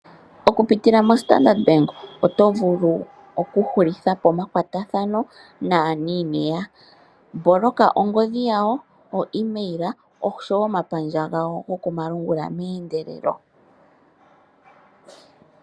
Okupitila mombaanga yaStandard, ngoye oto vulu okuhulitha po omakwatathano naaniineya, paku boloka oonomola dhawo dhoongodhi, ooEmail osho wo omapandja gawo gokomalungula.